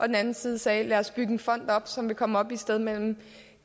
den anden side sagde lad os bygge en fond op som vil komme op på et sted mellem